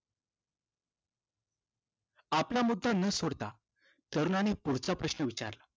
आपला मुद्धा न सोडता तरुणाने पुढचा प्रश्न विचारला